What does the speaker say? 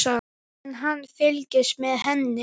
En hann fylgist með henni.